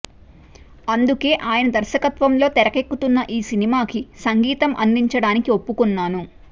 అందుకే ఆయన దర్శకత్వంలో తెరకెక్కుతున్న ఈ సినిమాకి సంగీతం అందించడానికి ఒప్పుకొన్నాను